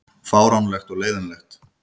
Fáránlegt og leiðinlegt